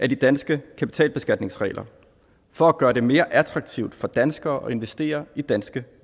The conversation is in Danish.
de danske kapitalbeskatningsregler for at gøre det mere attraktivt for danskere at investere i danske